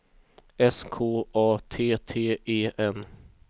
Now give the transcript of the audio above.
S K A T T E N